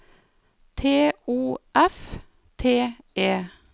T O F T E